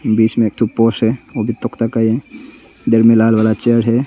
बीच में एक एक ठो पोस्ट है वो भी तफ्ता का है इधर में लाल वाला चेयर हैं।